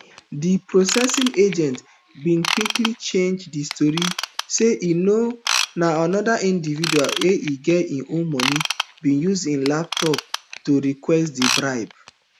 di processing agent bin quickly change di story say na anoda individual wey e dey owe money bin use im laptop to request di bribe